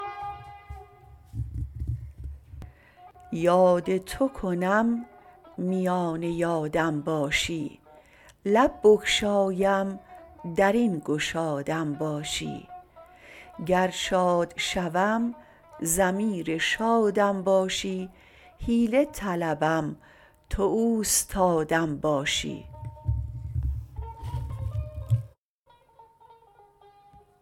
یاد تو کنم میان یادم باشی لب بگشایم در این گشادم باشی گر شاد شوم ضمیر شادم باشی حیله طلبم تو اوستادم باشی